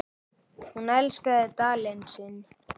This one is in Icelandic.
Hún elskaði Dalinn sinn.